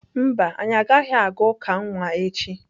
Mba, anyị agaghị aga uka nwa echi.